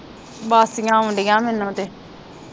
ਬਾਸੀਆਂ ਆਉਣ ਡੀਆ ਮੈਨੂੰ ਤੇ